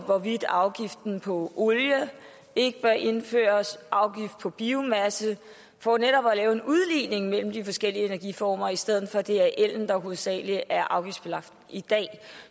hvorvidt afgift på olie ikke bør indføres og afgift på biomasse for netop at lave en udligning mellem de forskellige energiformer i stedet for at det er ellen der hovedsagelig er afgiftsbelagt i dag